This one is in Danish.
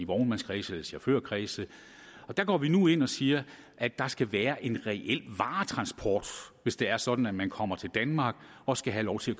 vognmandskredse eller chaufførkredse og der går vi nu ind og siger at der skal være en reel varetransport hvis det er sådan at man kommer til danmark og skal have lov til